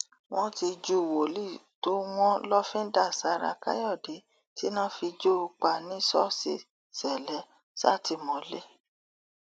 wọn ti ju wòlíì tó wọn lọfíńdà sára káyọdé tíná fi jó o pa ní ṣọọṣì ṣẹlẹ sátìmọlé